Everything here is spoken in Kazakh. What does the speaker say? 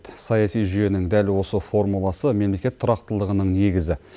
саяси жүйенің дәл осы формуласы мемлекет тұрақтылығының негізі